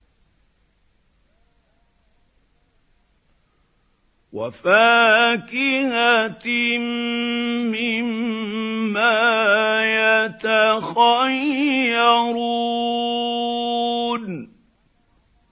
وَفَاكِهَةٍ مِّمَّا يَتَخَيَّرُونَ